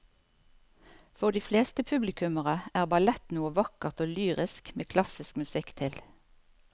For de fleste publikummere er ballett noe vakkert og lyrisk med klassisk musikk til.